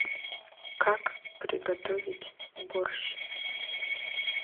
как приготовить борщ